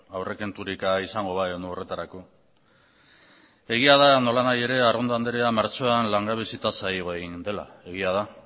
aurrekonturik izango bagenu horretarako egia da nolanahi ere arrondo anderea martxoan langabezi tasa igo egin dela egia da